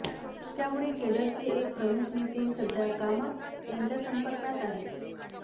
त्यामुळे केडरचे एक प्रमुख नेते सध्या कामत यांच्या संपर्कात आहेत